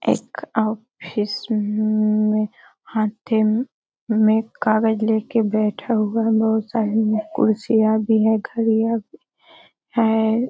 एक ऑफिस में हर टैम में कागज लेके बैठा हुआ है बहोत सारी कुरसियाँ भी है घड़ियां भी है।